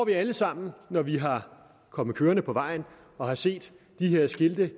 vi alle sammen når vi er kommet kørende på vejen og har set de her skilte